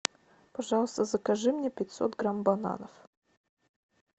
пожалуйста закажи мне пятьсот грамм бананов